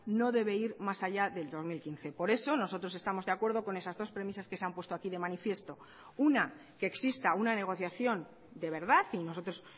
no debe ir más allá del dos mil quince por eso nosotros estamos de acuerdo con esas dos premisas que se han puesto aquí de manifiesto una que exista una negociación de verdad y nosotros